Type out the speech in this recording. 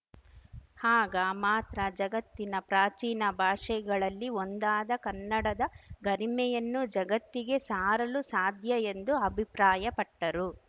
ಆಗ ಮಾತ್ರ ಜಗತ್ತಿನ ಪ್ರಾಚೀನ ಭಾಷೆಗಳಲ್ಲಿ ಒಂದಾದ ಕನ್ನಡದ ಗರಿಮೆಯನ್ನು ಜಗತ್ತಿಗೆ ಸಾರಲು ಸಾಧ್ಯ ಎಂದು ಅಭಿಪ್ರಾಯಪಟ್ಟರು